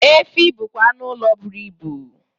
Efi bụkwa anụ ụlọ buru ibu